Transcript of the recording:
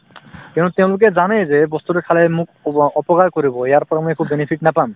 কিয়নো তেওঁলোকে জানাই যে এই বস্তুতো খালে মোক উপ অপকাৰ কৰিব ইয়াৰ পৰা মই একো benefit নাপাম